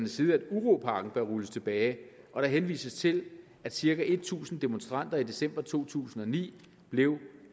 side at uropakken bør rulles tilbage og der henvises til at cirka tusind demonstranter i december to tusind og ni blev